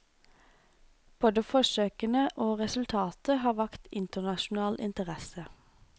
Både forsøkene og resultatet har vakt internasjonal interesse.